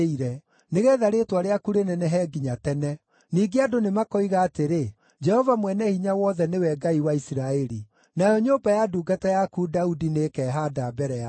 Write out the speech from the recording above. nĩgeetha rĩĩtwa rĩaku rĩnenehe nginya tene. Ningĩ andũ nĩmakoiga atĩrĩ, ‘Jehova Mwene-Hinya-Wothe nĩwe Ngai wa Isiraeli!’ Nayo nyũmba ya ndungata yaku Daudi nĩĩkehaanda mbere yaku.